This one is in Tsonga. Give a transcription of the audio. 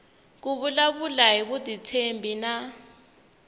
ku vulavula hi vutitshembi na